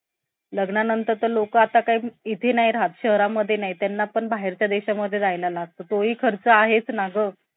लग्नानंतर तर लोक आता काय इथे नाही राहत शहरामध्ये नाहीत त्यांना पण बाहेरच्या देशामध्ये जायला लागतं. तोही खर्च आहेच ना गं.